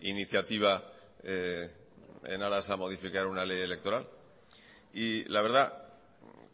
iniciativa en aras a modificar una ley electoral y la verdad